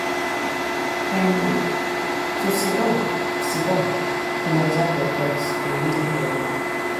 um to siddon siddon dey observe your thoughts dey really help.